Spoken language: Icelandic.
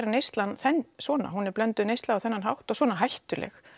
neyslan svona hún er blönduð neysla og svona hættuleg